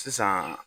Sisan